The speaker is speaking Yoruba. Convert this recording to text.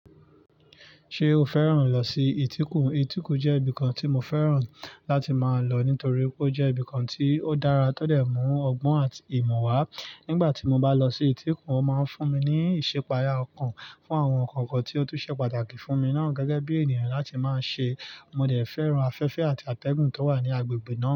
Ṣé o fẹ́ràn lọ sí ìtíkù? Ìtíkù jẹ́ ibìkan tí mo fẹ́ràn láti máa lọ nítorí ó jẹ́ ibìkan tí ó dára tọ́dẹ̀ mú ọgbọ́n àti ìmọ̀ wá. Nígbà tí mo bá lọ sí ìtíkù, ó máa ń fún mi ní ìṣipaya ọkàn fún àwọn nǹkan kan tí ó tún ṣe pàtàkì fún mi náà gẹ́gẹ́ bí ènìyàn láti máa ṣe. Mo dẹ̀ fẹ́ràn afẹ́fẹ́ àti àtẹ̀gùn tó wà ní agbègbè náà.